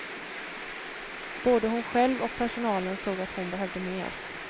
Både hon själv och personalen såg att hon behövde mer.